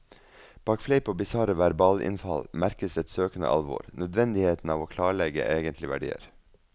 Bak fleip og bisarre verbalinnfall merkes et søkende alvor, nødvendigheten av å klarlegge egentlige verdier.